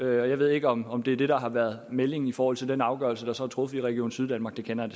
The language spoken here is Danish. jeg ved ikke om om det er det der har været meldingen i forhold til den afgørelse der så er truffet i region syddanmark den kender